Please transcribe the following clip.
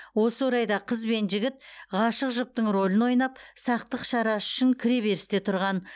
осы орайда қыз бен жігіт ғашық жұптың рөлін ойнап сақтық шарасы үшін кіреберісте тұрған